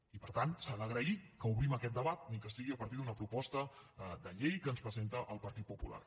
i per tant s’ha d’agrair que obrim aquest debat ni que sigui a partir d’una proposta de llei que ens presenta el partit popular